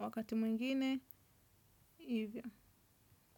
wakati mwingine, hivyo.